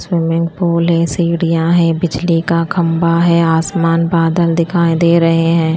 Swimming pool है सीढ़ियाँ हैं बिजली का खंबा है आसमान बादल दिखाई दे रहे हैं।